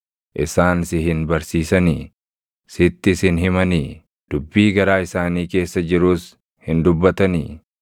Isaan si hin barsiisanii? Sittis hin himanii? Dubbii garaa isaanii keessa jirus hin dubbatanii?